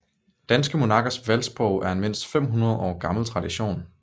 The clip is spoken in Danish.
Danske monarkers valgsprog er en mindst 500 år gammel tradition